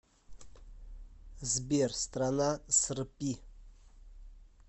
сбер страна српи